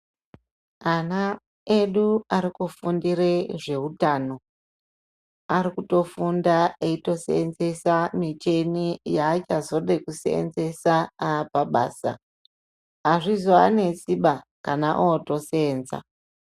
Ana edu arikufundire zveutano arikutofunda eitoseenzesa micheni yaachazode kuseenzesa apabasa azvizoanesiba kana otoseenza.